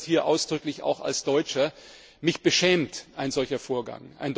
Ich sage das hier ausdrücklich auch als Deutscher Mich beschämt ein solcher Vorgang.